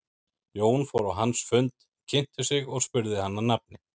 Jón fór á hans fund, kynnti sig og spurði hann að nafni.